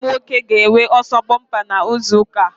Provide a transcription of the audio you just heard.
Mụ na nwanne m nwoke ga-enwe ọsọ bompa na izu ụka a